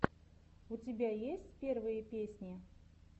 у тебя есть первые песни